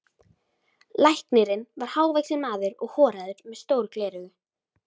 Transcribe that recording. Læknirinn var hávaxinn maður og horaður með stór gleraugu.